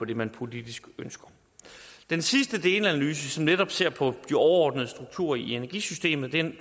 det man politisk ønsker den sidste delanalyse som netop ser på de overordnede strukturer i energisystemet